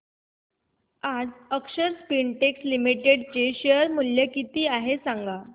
आज Akshar Spintex Limited चे share मूल्य किती आहे सांगा